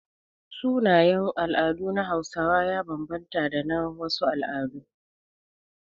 Sunayen al'adu na Hausawa ya banbanta da na wasu al'adu.